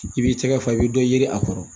I b'i tɛgɛ fa i bɛ dɔ yiri a kɔrɔ